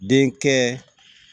Den kɛ